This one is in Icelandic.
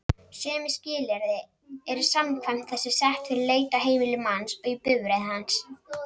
Sömu skilyrði eru samkvæmt þessu sett fyrir leit á heimili manns og í bifreið hans.